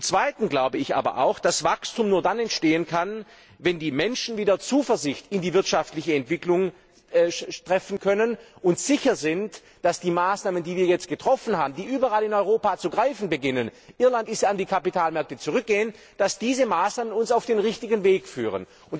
Zweitens glaube ich aber auch, dass Wachstum nur dann entstehen kann, wenn die Menschen wieder Zuversicht in die wirtschaftliche Entwicklung haben können und sicher sind, dass die Maßnahmen, die wir jetzt getroffen haben und die überall in Europa zu greifen beginnen Irland ist ja an die Kapitalmärkte zurückgegangen uns auf den richtigen Weg führen.